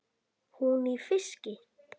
Hún í fiski.